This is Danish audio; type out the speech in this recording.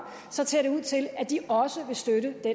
ser ud til at de også vil støtte de